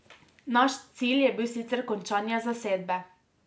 Naš cilj je bil sicer končanje zasedbe.